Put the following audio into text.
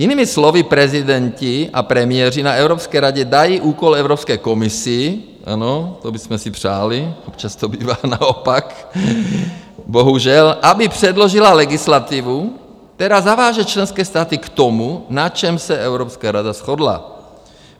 Jinými slovy, prezidenti a premiéři na Evropské radě dají úkol Evropské komisi - ano, to bychom si přáli, občas to bývá naopak, bohužel - aby předložila legislativu, která zaváže členské státy k tomu, na čem se Evropská rada shodla.